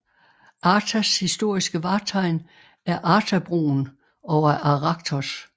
Artas historiske vartegn er Artabroen over Arachthos